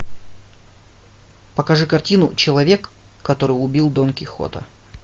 покажи картину человек который убил дон кихота